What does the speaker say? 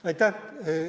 Aitäh!